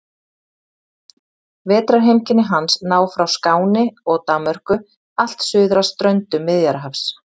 Vetrarheimkynni hans ná frá Skáni og Danmörku allt suður að ströndum Miðjarðarhafs.